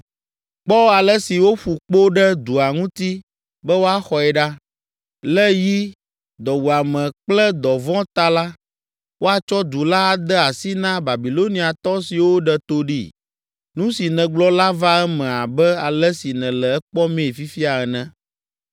“Kpɔ ale si woƒu kpo ɖe dua ŋutii be woaxɔe ɖa. Le yi, dɔwuame kple dɔvɔ̃ ta la, woatsɔ du la ade asi na Babiloniatɔ siwo ɖe to ɖee. Nu si nègblɔ la va eme abe ale si nèle ekpɔmii fifia ene.